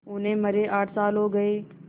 उन्हें मरे आठ साल हो गए